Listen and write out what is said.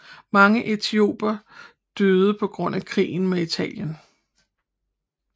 Mange etiopiere døde på grund af krigen med Italien